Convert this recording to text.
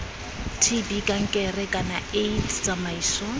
tb kankere kana aids tsamaiso